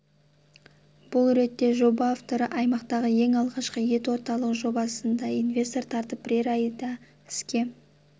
бұл ретте жоба авторы аймақтағы ең алғашқы ет орталығы жобасына да инвестор тартып бірер айда іске